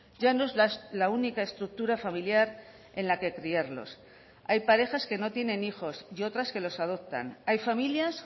ya no es la única estructura familiar en la que criarlos hay parejas que no tienen hijos y otras que los adoptan hay familias